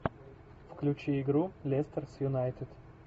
включи игру лестер с юнайтед